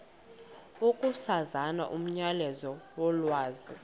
ukusasaza umyalezo wolwazi